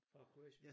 Fra Kroatien?